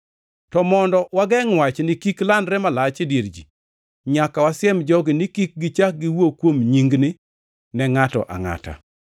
To mondo wagengʼ wachni kik landre malach e dier ji, nyaka wasiem jogi ni kik gichak giwuo kuom nyingni ne ngʼato angʼata.”